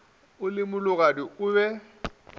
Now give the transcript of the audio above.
o le mologadi o be